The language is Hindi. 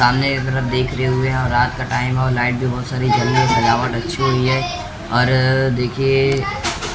सामने की तरफ देख रहे हुए हैं और रात का टाइम है और लाइट भी बहुत सारी जमी है सजावट अच्छी हुई है और देखिए--